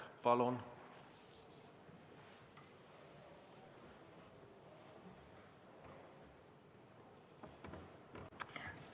Palun!